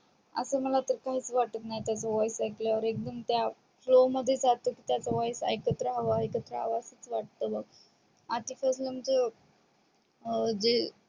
आस मला तर काहीच वाटत नाही की voice ऐकल्या वर एकदम त्या flow जातो आस वाटत की ऐकत रहाव ऐकत रहाव आस वाटत बग आधी पासून जे